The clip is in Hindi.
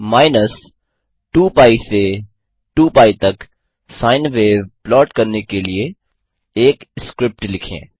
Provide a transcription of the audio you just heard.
माइनस पाई से टू पाई तक साइन वेव प्लॉट करने के लिए एक स्क्रिप्ट लिखें